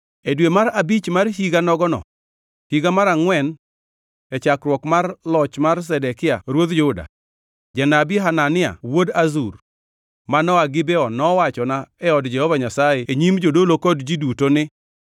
E dwe mar abich mar higa nogono, higa mar angʼwen, e chakruok mar loch mar Zedekia ruodh Juda, janabi Hanania wuod Azur, manoa Gibeon, nowachona e od Jehova Nyasaye e nyim jodolo kod ji duto ni: